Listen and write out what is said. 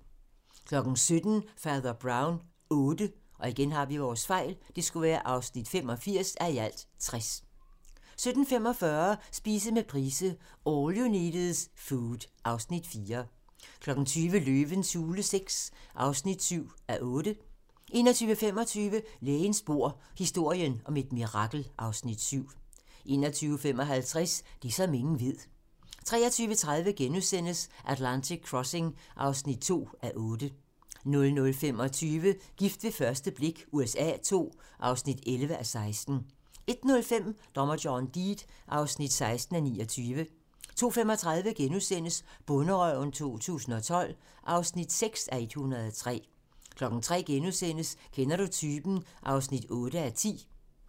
17:00: Fader Brown VIII (85:60) 17:45: Spise med Price - All you need is food (Afs. 4) 20:00: Løvens hule VI (7:8) 21:25: Lægens bord: Historien om et mirakel (Afs. 7) 21:55: Det, som ingen ved 23:30: Atlantic Crossing (2:8)* 00:25: Gift ved første blik USA II (11:16) 01:05: Dommer John Deed (16:29) 02:35: Bonderøven 2012 (6:103)* 03:00: Kender du typen? (8:10)*